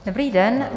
Dobrý den.